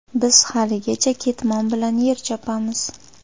Biz haligacha ketmon bilan yer chopamiz.